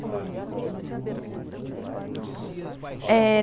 E você ensina literatura ou gramática? Eh